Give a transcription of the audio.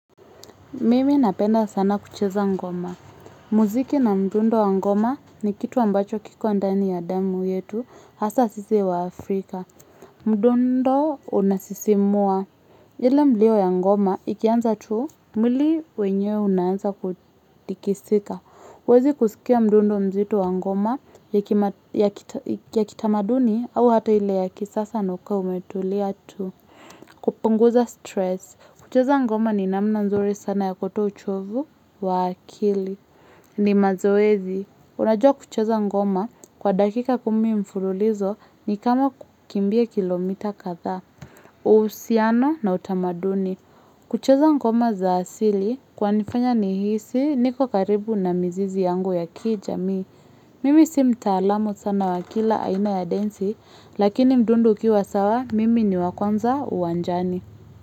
Mimi napenda sana kucheza ngoma. Muziki na mdundo wa ngoma ni kitu ambacho kiko ndani ya damu yetu hasa sisi wa Afrika. Mdundo unasisimua. Ile mlio ya ngoma ikianza tu mwili wenyewe unaanza kutikisika. Huwezi kusikia mdundo mzito wa ngoma ya kitamaduni au hata hile ya kisasa na ukae umetulia tu. Kupunguza stress. Kucheza ngoma ni namna nzuri sana ya kutoa uchovu wa akili. Ni mazoezi. Unajua kucheza ngoma kwa dakika kumi mfululizo ni kama kukimbia kilomita kadhaa. Uhusiano na utamaduni. Kucheza ngoma za asili kwa nifanya ni hisi niko karibu na mizizi yangu ya ki jamii. Mimi simta alamu sana wa kila aina ya denzi lakini mdundo ukiwa sawa mimi ni wa kwanza uwanjani.